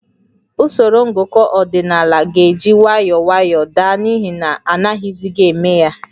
Usoro ngụkọ ọdịnaala ga-eji nwayọọ nwayọọ daa n'ihi na anaghịzi eme ya